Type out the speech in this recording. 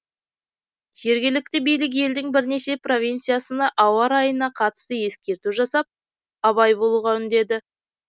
жергілікті билік елдің бірнеше провинциясына ауа райына қатысты ескерту жасап абай болуға үндеді